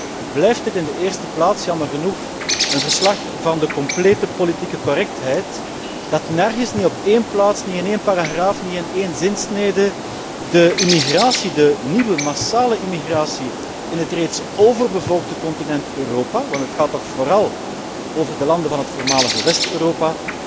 Toch blijft het in de eerste plaats, jammer genoeg, een verslag van de complete politieke correctheid, dat nergens, niet op één plaats, niet in één paragraaf of één zinsnede, de nieuwe massale immigratie in het reeds overbevolkte continent Europa, want het gaat toch vooral over de landen van het voormalige West Europa,